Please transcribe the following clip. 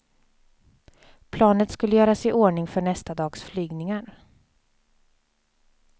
Planet skulle göras i ordning för nästa dags flygningar.